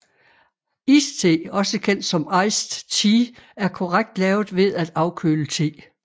Iste også kendt som Iced Tea er korrekt lavet ved at afkøle te